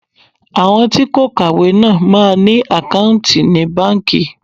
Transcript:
Àwọn tí kò kàwé náà máa ń ní àkáùntì ní báńkì.